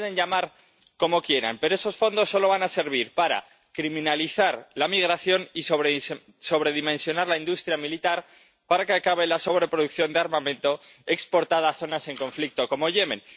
Y lo pueden llamar como quieran, pero esos fondos solo van a servir para criminalizar la migración y sobredimensionar la industria militar para que acabe la sobreproducción de armamento exportada a zonas en conflicto como Yemen.